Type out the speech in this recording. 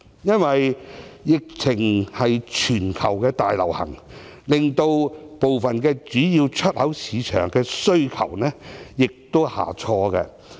因為疫情現時全球大流行，令部分主要出口市場的需求下挫。